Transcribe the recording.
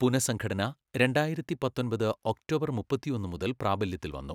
പുനഃസംഘടന രണ്ടായിരത്തി, പത്തൊമ്പത് ഒക്ടോബർ മുപ്പത്തിയൊന്ന് മുതൽ പ്രാബല്യത്തിൽ വന്നു.